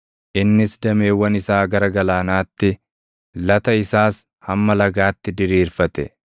Innis dameewwan isaa gara Galaanaatti, lata isaas hamma Lagaatti diriirfate.